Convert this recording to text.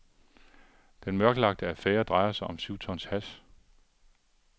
Den mørklagte affære drejer sig om syv tons hash.